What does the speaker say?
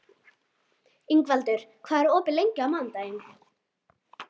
Ingvaldur, hvað er opið lengi á mánudaginn?